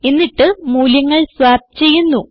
എന്നിട്ട് മൂല്യങ്ങൾ സ്വാപ്പ് ചെയ്യുന്നു